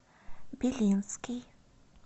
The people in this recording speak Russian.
белинский